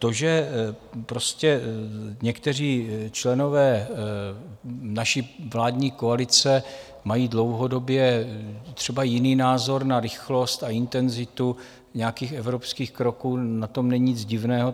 To, že prostě někteří členové naší vládní koalice mají dlouhodobě třeba jiný názor na rychlost a intenzitu nějakých evropských kroků, na tom není nic divného.